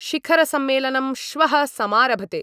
शिखरसम्मेलनं श्वः समारभते।